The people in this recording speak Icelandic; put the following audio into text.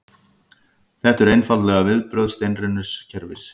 Þetta eru einfaldlega viðbrögð steinrunnins kerfis